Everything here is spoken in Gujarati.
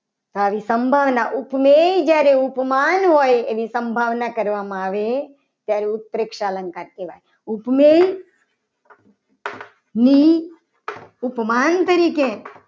તો આવી સંભાવના જ્યારે ઉપમેય ઉપમાન હોય. એની સંભાવના કરવામાં આવે ત્યારે ઉત્પ્રેક્ષા અલંકાર કહેવાય. ઉપમેય ની ઉપમાન તરીકે